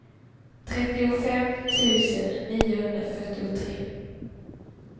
trettiofem tusen niohundrafyrtiotre